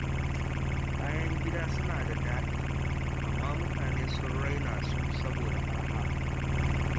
Kayan gida suna da daɗi, amma mutane sun raina su saboda suna da araha.